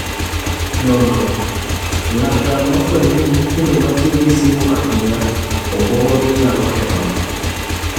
Nonro: Laktar nofwenyo ni nyithindo ma tiyo gi simu ahinya, obwongogi nyalo kethogi